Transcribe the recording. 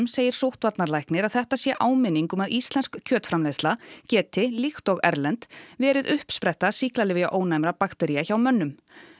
segir sóttvarnarlæknir að þetta sé áminning um að íslensk kjötframleiðsla geti líkt og erlend verið uppspretta sýklalyfjaónæmra baktería hjá mönnum